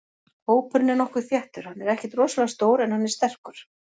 Hópurinn er nokkuð þéttur, hann er ekkert rosalega stór en hann er sterkur.